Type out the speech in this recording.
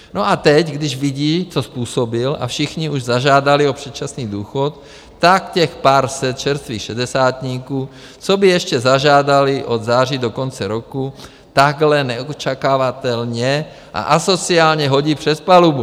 No a teď, když vidí, co způsobil, a všichni už zažádali o předčasný důchod, tak těch pár set čerstvých šedesátníků, co by ještě zažádali od září do konce roku, takhle neočekávatelně a asociálně hodí přes palubu.